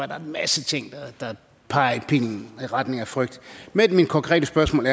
der er en masse ting der peger i retning af frygt men mit konkrete spørgsmål